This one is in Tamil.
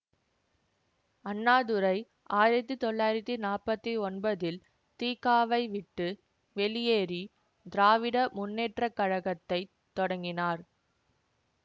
அண்ணாதுரை ஆயிரத்தி தொள்ளாயிரத்தி நாற்பத்தி ஒன்பதில் தி க வை விட்டு வெளியேறி திராவிட முன்னேற்ற கழகத்தை தொடங்கினார்